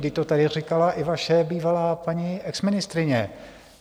Vždyť to tady říkala i vaše bývalá paní exministryně.